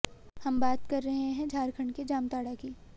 हम बात कर रहे हैं झारखंड के जामताड़ा की